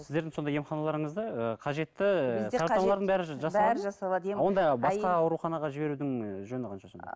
сіздердің сонда емханаларыңызда ы қажетті онда басқа ауруханаға жіберудің жөні қанша сонда